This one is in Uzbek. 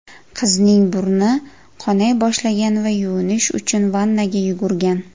Qizning burni qonay boshlagan va yuvinish uchun vannaga yugurgan.